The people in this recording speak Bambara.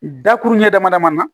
Dakuru ɲɛ damadaman na